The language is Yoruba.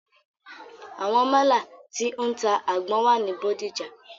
Àwọn málà tí o ń ta àgbọn wà ní Bódìjà.